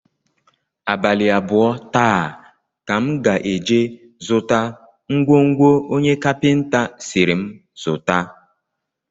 Abalị abụọ taa ka m ga-eje zụta ngwongwo onye kapịnta sịrị m zụta